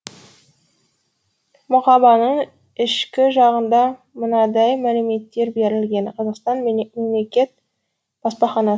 мұқабаның ішкі жағында мынадай мәліметтер берілген қазақстан мемлекет баспаханасы